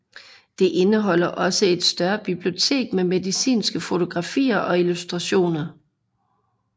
Det indeholder også et større bibliotek med medicinske fotografier og illustrationer